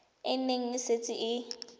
e ne e setse e